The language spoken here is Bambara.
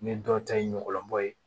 Ne dɔw ta ye ɲɔgulɔ bɔ ye